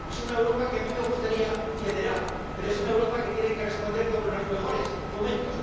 Es una Europa que a mí me gustaría federal, pero es una Europa que tiene que responder como en los mejores momentos.